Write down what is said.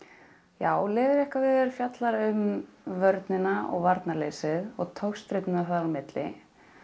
já Leðurjakkaveður fjallar um vörnina og varnarleysið og togstreituna þar á milli